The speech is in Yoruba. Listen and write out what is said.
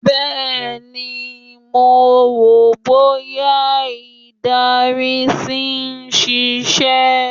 Bẹ́ẹ̀̀ ni, mo wò bóyá ìdarí ṣì ń ṣiṣẹ́